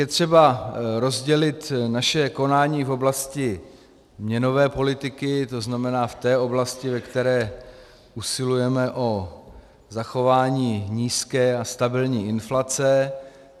Je třeba rozdělit naše konání v oblasti měnové politiky, to znamená v té oblasti, ve které usilujeme o zachování nízké a stabilní inflace.